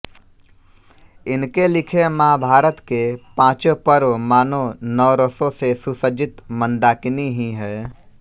इनके लिखे महाभारत के पाँचों पर्व मानो नवरसों से सुसज्जित मंदाकिनी ही हैं